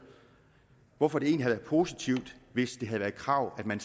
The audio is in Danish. hvorfor det egentlig havde været positivt hvis det havde været krav at man